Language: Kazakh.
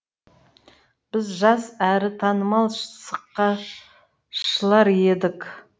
біз жас әрі танымал сықақшылар едік